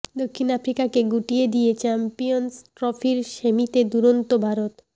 দক্ষিণ আফ্রিকাকে গুটিয়ে দিয়ে চ্যাম্পিয়ন্স ট্রফির সেমিতে দুরন্ত ভারত